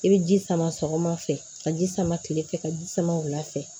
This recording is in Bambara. I bɛ ji sama sɔgɔma fɛ ka ji sama kile fɛ ka ji sama wula fɛ